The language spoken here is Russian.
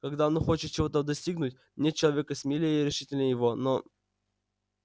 когда он хочет чего-то достигнуть нет человека смелее и решительнее его но